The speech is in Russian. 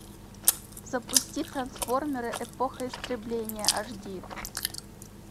запусти трансформеры эпоха истребления аш ди